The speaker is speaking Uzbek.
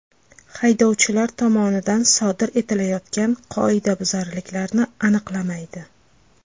Haydovchilar tomonidan sodir etilayotgan qoidabuzarliklarni aniqlamaydi.